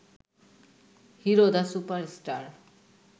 hero the super star